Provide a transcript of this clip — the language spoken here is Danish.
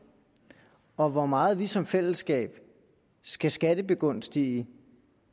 og hvor meget vi som fællesskab skal skattebegunstige